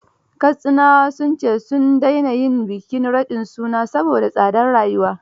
Katsinawa sun ce; sun daina yin bikin raɗin suna saboda tsadar rayuwa